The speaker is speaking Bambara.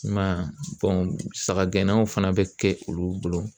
I m'a ye sagagɛnnaw fana bɛ kɛ olu bolo